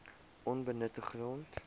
onbenutte grond